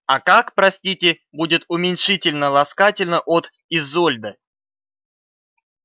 а как простите будет уменьшительно-ласкательно от изольда